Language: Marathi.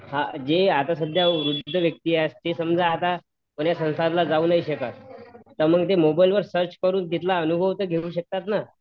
जे आता समजा वृद्ध व्यक्ती असते समजा आता समजा unclerar जाऊ नाही शकत तर मन्ग मोबाईलवर सर्च करून तिथला अनुभव तर घेऊ शकतात ना